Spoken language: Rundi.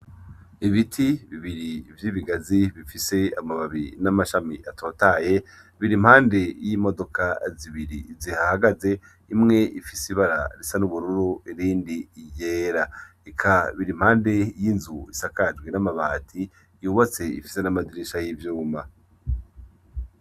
ibiti bibiri vy'ibigazi bifise amababi n'amashami atotahaye biri impande y'imodoka zibiri zihahagaze imwe ifise ibara risa n'ubururu irindi yera eka biri impande y'inzu isakajwe n'amabati yubatse ifise n'amadirisha y'ibyuma